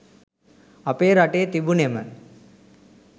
අපේ රටේ තිබුනෙම